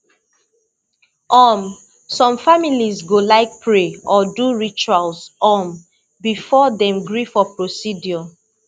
um some families go like pray or do ritual um before dem gree for procedure